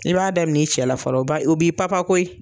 I b'a daminɛ i cɛ la fɔlɔ o b'i papa koyi.